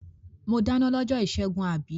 Mo dáná lọ́jọ́ ìṣẹ́gun, àbí?